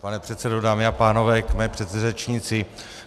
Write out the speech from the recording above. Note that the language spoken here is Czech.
Pane předsedo, dámy a pánové, k mé předřečnici.